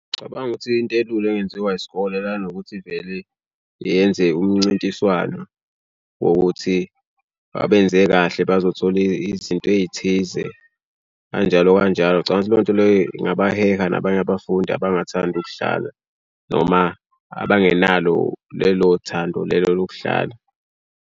Cabanga ukuthi into elula engenziwa isikole lana ukuthi vele yenze umncintiswano wokuthi babenze kahle bazothola izinto ey'thize. Kanjalo kanjalo ngicathi leyo nto leyo ingabaheha nabanye abafundi abangathandi ukudlala noma abangenalo lelo thando lelo lokudlala.